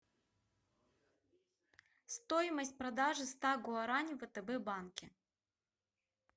стоимость продажи ста гуарани в втб банке